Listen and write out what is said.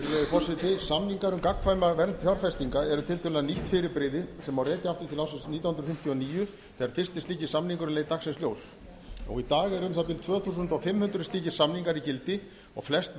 forseti samningar um gagnkvæma vernd fjárfestinga eru tiltölulega nýtt fyrirbrigði sem má rekja aftur til ársins nítján hundruð fimmtíu og níu þegar fyrsti slíki samningurinn leit dagsins ljós í dag eru um það bil tvö þúsund fimm hundruð slíkir samningar í gildi og flest